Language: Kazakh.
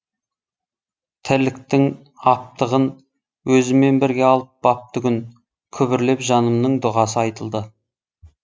тірліктің аптығын өзімен бірге алып батты күн күбірлеп жанымның дұғасы айтылды